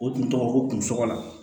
O tun tɔgɔ ko kun sɔgɔlan